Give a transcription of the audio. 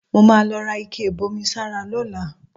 Mo máa lọ ra ike ìbomisára lọ́la